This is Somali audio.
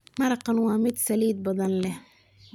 Maraqkan waa mid saliid badan leh